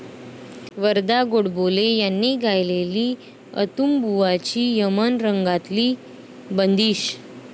वरदा गोडबोले यांनी गायलेली अंतुबुवांची यमन रंगातली बंदिश